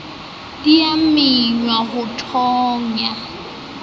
di a mengwa ho thonya